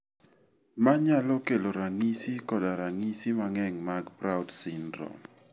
Ma nyalo kelo ranyisi koda ranyisi mang'eny mag Proud syndrome.